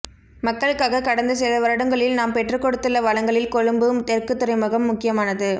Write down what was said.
மக்களுக்காக கடந்த சில வருடங்களில் நாம் பெற்றுக்கொடுத்துள்ள வளங்களில் கொழும்பு தெற்குத் துறைமுகம் முக்கியமானது